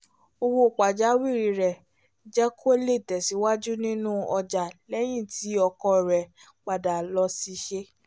owó pajawìrì rẹ̀ jẹ́ kó lè tẹ̀síwájú nínú ọjà lẹ́yìn tí ọkọ rẹ̀ padà lóṣìṣẹ́